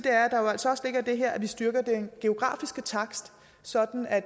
at det her at vi styrker den geografiske takst sådan at